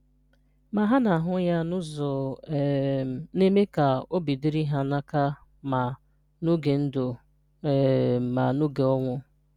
ma ha na-ahụ ya n’ụzọ um na-eme ka obi dịrị ha n'aka ma n’oge ndụ um ma n’oge ọnwụ.